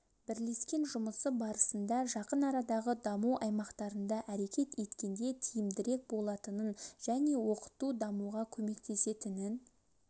бірлескен жұмысы барысында жақын арадағы даму аймақтарында әрекет еткенде тиімдірек болатынын және оқыту дамуға көмектесетінін